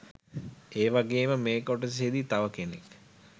ඒවගෙම මෙ කොටසෙදි තව කෙනෙක්